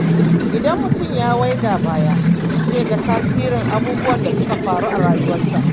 Idan mutum ya waiga baya, zai ga tasirin abubuwan da suka faru a rayuwarsa.